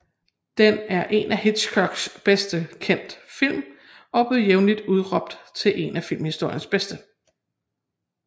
Den er en af Hitchcocks bedst kendte film og bliver jævnligt udråbt til en af filmhistoriens bedste